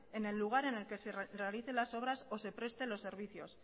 en el lugar en el que se realicen las obras o se presten los servicios